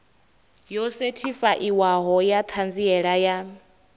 yo sethifaiwaho ya ṱhanziela ya